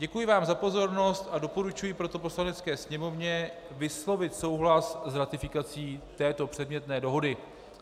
Děkuji vám za pozornost a doporučuji proto Poslanecké sněmovně vyslovit souhlas s ratifikací této předmětné dohody.